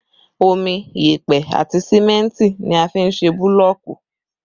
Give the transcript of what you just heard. Omi, yẹpẹ àti símẹ́ntì ni a fi n se búlọ̀ọ̀kù